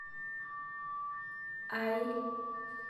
aai